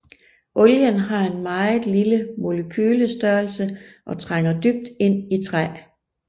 Olien har en meget lille molekylestørrelse og trænger dybt ind i træ